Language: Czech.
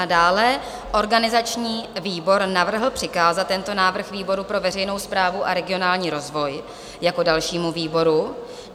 A dále organizační výbor navrhl přikázat tento návrh výboru pro veřejnou správu a regionální rozvoj jako dalšímu výboru.